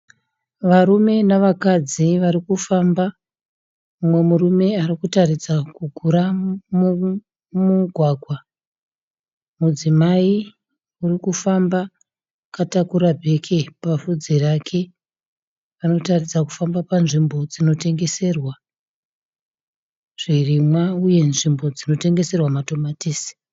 Varume navakadzi varikufamba. Mumwe murume arikuratidza kugura mugwagwa. Mudzimai urikufamba akatakura bheke pafudzi rake. Arikuratidza kufamba panzvimbo inotengeserwa zvirimwa uye nzvimbo inotengeserwa matomatisi.